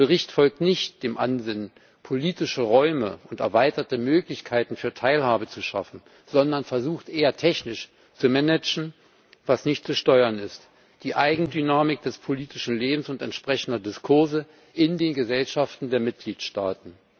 Der Bericht folgt nicht dem Ansinnen, politische Räume und erweiterte Möglichkeiten für Teilhabe zu schaffen, sondern versucht eher, technisch zu managen, was nicht zu steuern ist die Eigendynamik des politischen Lebens und entsprechender Diskurse in den Gesellschaften der Mitgliedsstaaten.